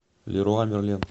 леруа мерлен